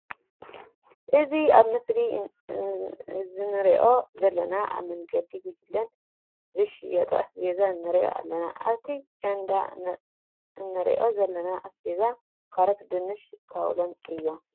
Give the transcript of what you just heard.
እዚ ኣብ ምስሊ እዘነሪኦ ዘለና ኣብ መንገዲ ጎጅለን ዝሸጣ ኣስቤዛ ንርኢ ኣለና። ኣብቲ ቸንዳ እንሪኦ ዘለና ኣስቤዛ ካሮት፣ ድንሽን ካውሎን እዮም።